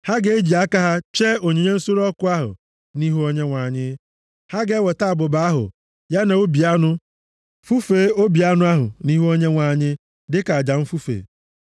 Ha ga-eji aka ha chee onyinye nsure ọkụ ahụ nʼihu Onyenwe anyị. Ha ga-eweta abụba ahụ, ya na obi anụ, fufee obi anụ ahụ nʼihu Onyenwe anyị dịka aja mfufe.